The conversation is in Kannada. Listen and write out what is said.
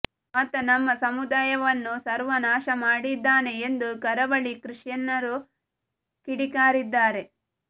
ಆತ ನಮ್ಮ ಸಮುದಾಯವನ್ನು ಸರ್ವನಾಶ ಮಾಡಿದ್ದಾನೆ ಎಂದು ಕರಾವಳಿ ಕ್ರಿಶ್ಚಿಯನ್ನರು ಕಿಡಿಕಾರಿದ್ದಾರೆ